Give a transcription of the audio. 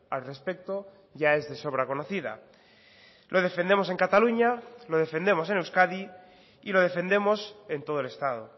al respecto ya es de sobra conocida lo defendemos en cataluña lo defendemos en euskadi y lo defendemos en todo el estado